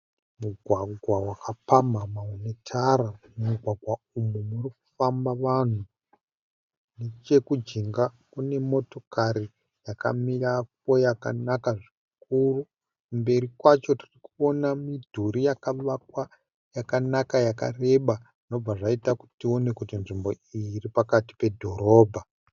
Mugwagwa wakapamhamha une tara, mumugwagwa uyu uri kufamaba vanhu, nechekujenga kune motokari yakamirapo yakanaka zvikuru, kumberi kwacho tirikuona midhuri yakavakwa yakanaka yakareba zvinoita kuti tione kuti tiripakaiti pedhorobha.